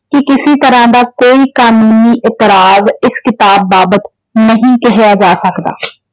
ਕਿ ਕਿਸੀ ਤਰ੍ਹਾਂ ਕੋਈ ਕਾਨੂੰਨੀ ਇਤਰਾਜ਼ ਇਸ ਕਿਤਾਬ ਬਾਬਤ ਨਹੀਂ ਕਿਹਾ ਜਾ ਸਕਦਾ।